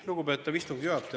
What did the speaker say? Lugupeetav istungi juhataja!